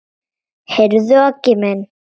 Heyrðu Aggi minn.